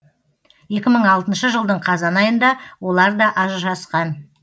екі мың алтыншы жылдың қазан айында олар да ажырасқан